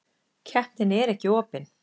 Keppnin er ekki opin.